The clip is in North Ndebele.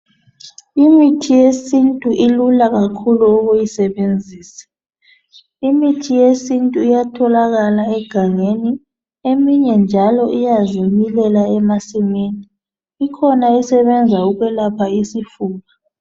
Imithi yesintu ilula kakhulu ukuyisebenzisa . Imithi yesintu iyatholakal egangeni eminye njalo iyazimilela emasimini. Ikhona esebenza ukwelapha isifuba.